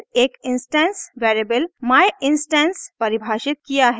फिर एक instance variable myinstance परिभाषित किया है